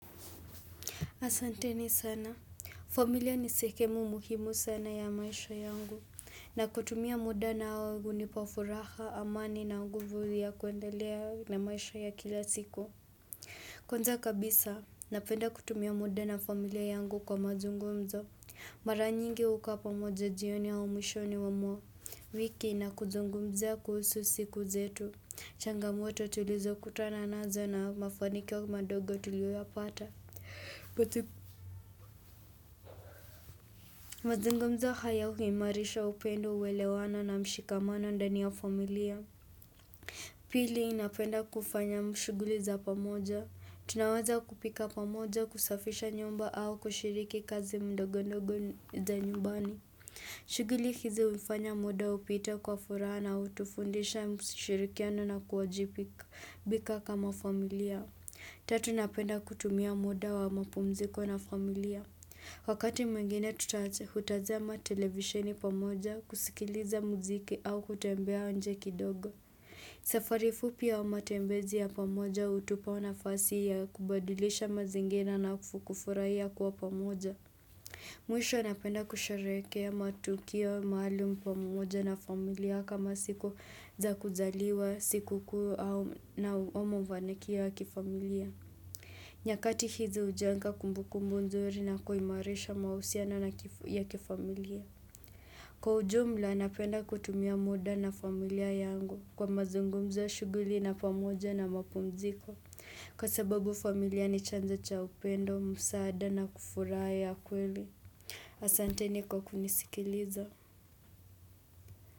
Asanteni sana. Familia ni sehemu muhimu sana ya maisha yangu. Na kutumia muda nao hunipa furaha, amani na nguvu ya kuendelea na maisha ya kila siku. Kwanza kabisa, napenda kutumia muda na familia yangu kwa mazungumzo. Mara nyingi hukaa pamoja jioni au mwishoni mwa wiki na kuzungumzia kuhusu siku zetu. Changamoto tulizokutana nazo na mafanikio madogo tulioyapata. Mazungumzo hayo, huimarisha upendo uwelewano na mshikamano ndani ya familia Pili napenda kufanya mashughuli za pamoja Tunaweza kupika pamoja, kusafisha nyumba au kushiriki kazi ndogondogo za nyumbani shughuli hizi hufanya muda upite kwa furaha na hutufundisha mshirikiano na kuwajibika kama familia Tatu ninapenda kutumia muda wa mapumziko na familia Wakati mwengine hutajama televisheni pamoja, kusikiliza muziki au kutembea nje kidogo. Safari fupi ya matembezi ya pamoja hutupa nafasi ya kubadilisha mazingira na kufurahia kuwa pamoja. Mwisho napenda kusherehekea matukio maalum pamoja na familia, kama siku za kuzaliwa, siku kuu na uomo vanekia kifamilia. Nyakati hizi hujenga kumbukumbu nzuri na kuimarisha mahusiano ya kifamilia Kwa ujumla, napenda kutumia muda na familia yangu kwa mazungumzo, shughuli na pamoja na mapumziko, kwa sababu familia ni chanzo cha upendo, msaada na kufurahia kweli Asanteni kwa kunisikiliza.